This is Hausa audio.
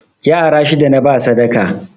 Yara shida naba sadaka